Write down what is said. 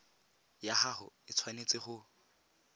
ya gago e tshwanetse go